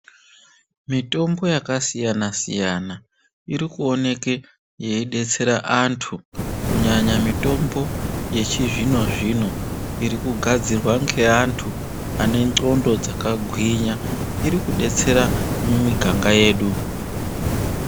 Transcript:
Mitombo yaka siyana siyana iri kuoneke yei detsera antu kunyanya mitombo yechi zvino zvino iri kugadzirwa nge antu ane ndxonda dzaka gwinya iri kudetsera mu miganga yedu.